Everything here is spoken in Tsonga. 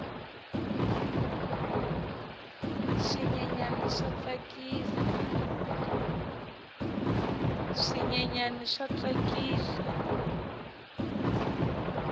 swinyenyani swa tsakisa